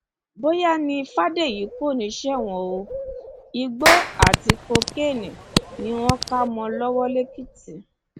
bóyá ni fàdèyí kò ní í ṣẹwọn o igbó àti kokéènì ni wọn kà mọ ọn lọwọ lẹkìtì